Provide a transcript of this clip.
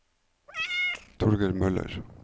Torger Møller